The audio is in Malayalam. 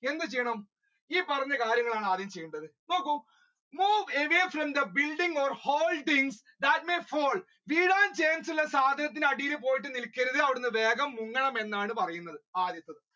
എന്ത് ചെയ്യണം ഈ പറഞ്ഞ കാര്യങ്ങളാണ് ആദ്യം ചെയ്യേണ്ടത് നോക്കൂ move away from the building or holding that may fall വീഴാൻ chance ഉള്ള സാധനങ്ങളുടെ അടിയിൽ പോയി നിൽക്കരുത് അവിടന്ന് വേഗം മുങ്ങണം എന്നാണ് പറയുന്നത്. ആദ്യത്തത്